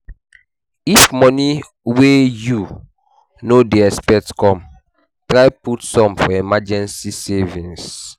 If money wey you no dey expect come, try put some for emergency savings